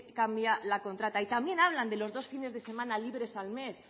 cambia la contrata y también habla de los dos fines de semana libres al mes